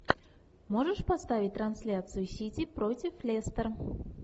можешь поставить трансляцию сити против лестер